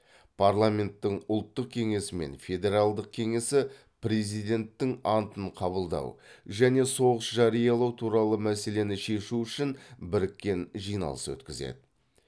парламенттің ұлттық кеңесі мен федералдық кеңесі президенттің антын қабылдау және соғыс жариялау туралы мәселені шешу үшін біріккен жиналыс өткізеді